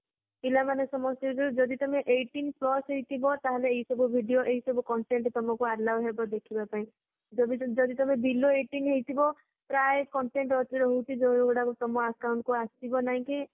ପିଲାମାନେ ସମସ୍ତେ ଯୋଊ ଯଦି ତମେ eighteenth plus ହେଇଥିବ ଆଏ ସବୁ video ଆଏ ସବୁ content ଯେମିତି ତମକୁ allow ହେବ ଦେଖିବାପାଇଁ ଯଦି ତମେ ଯଦି ତମେ below eighteenth ହେଇଥିବା ପ୍ରାୟ content ରହୁଛି ଯୋଊଯୋଊ ଗୁରକ ତମ account କୁ ଆସିବ ନାହିଁ କି